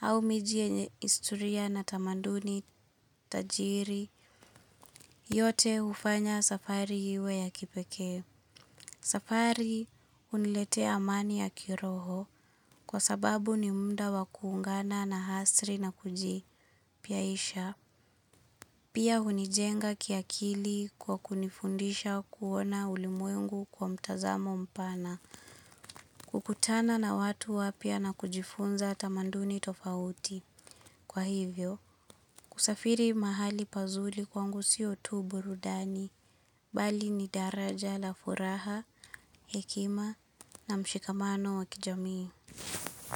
au miji yenye isturia na tamanduni tajiri, yote ufanya safari hiwe ya kipeke. Safari uniletea amani ya kiroho kwa sababu ni muda wakuungana naasri na kuji piaisha. Pia unijenga kiakili kwa kunifundisha kuona ulimwengu kwa mtazamo mpana. Kukutana na watu wapya na kujifunza tamanduni tofauti. Kwa hivyo, kusafiri mahali pazuli kwangu sio tuburudani, bali ni daraja la furaha, hekima na mshikamano wakijami.